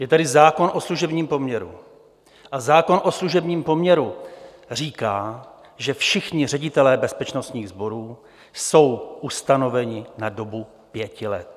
Je tady zákon o služebním poměru a zákon o služebním poměru říká, že všichni ředitelé bezpečnostních sborů jsou ustanoveni na dobu pěti let.